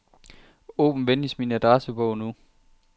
Åbn venligst min adressebog nu.